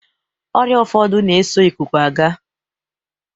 Ọrịa ụfọdụ na-eso ịkụkụ aga.